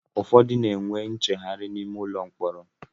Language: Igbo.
Ụfọdụ n'enwe ncheghari n'ime ụlọ mkpọrọ